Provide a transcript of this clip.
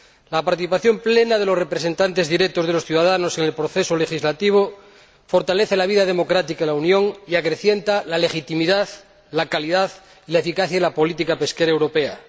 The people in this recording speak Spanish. La participación plena de los representantes directos de los ciudadanos en el proceso legislativo fortalece la vida democrática en la Unión y acrecienta la legitimidad, la calidad, la eficacia y la política pesquera europea.